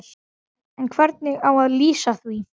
En hvernig á að LÝSA því?